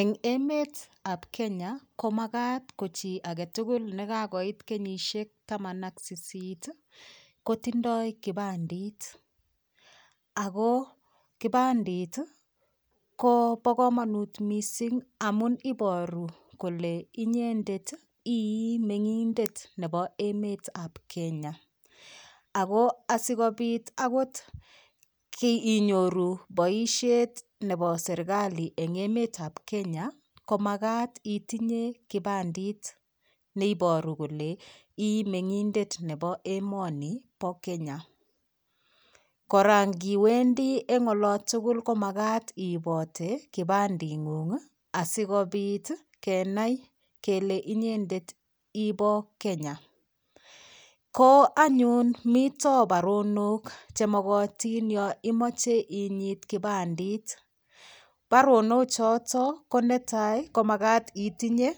Eng' emetab komakat ko chi agetugul nekakoit kenyishek taman ak sisit kotindoi kipandit ako kipandit ko bo komonut mising' amun inyoru kole inyendet ii meng'indet nebo emetab Kenya ako asikobit akot inyoru boishet nebo serikali eng' emetab Kenya komakat itinye kipandit neiboru kole ii meng'indet nebo emoni bo Kenya kora ngiwendi eng' olotugul komakat iibote kipanding'ung asikobit kenai kele nyendet ibo Kenya ko anyun mito baronok chemokotin yo imoche inyit kipandit baronochoto ko netai komakat itinye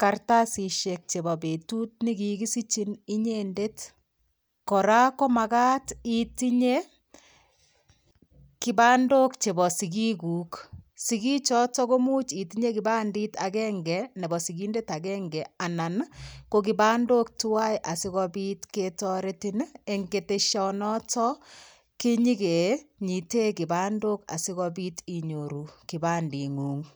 karatasishek chebo betut nekikisichin inyendet kora komakat itinye kipandok chebo sikik kuk sikichoto komuch itinye kipandit agenge nebo sikindet agenge ko kipandok tuwai asikobit ketoretin eng' keteshonoto kinyikenyite kipandok asikobit inyoru kipanding'ung'